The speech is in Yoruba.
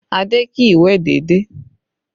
Adé kì í wẹ̀ déédéé